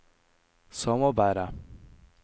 samarbeidet